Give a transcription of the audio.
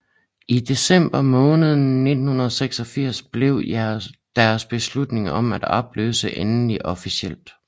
I december måned 1986 blev deres beslutning om at opløses endelig officiel